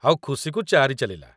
ଆଉ ଖୁସିକୁ ଚାରି ଚାଲିଲା।